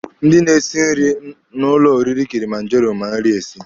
Ndị na-esi nri na ụlọ oriri Kilimanjaro ma nri esi.